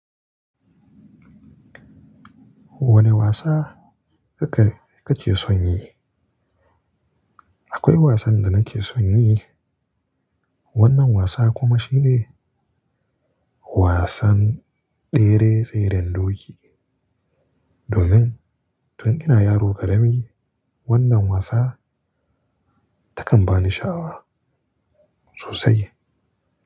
Wane wasa kake, kake son yi? Akwai wasan da nake son yi. Wannan wasa kuma shine wasan tsere tseren doki. Domin tun ina yaro ƙarami wannan wasa, takan bani sha'awa sosai.